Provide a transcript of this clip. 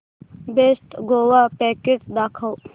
best Goa package दाखव